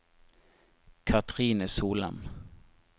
Cathrine Solem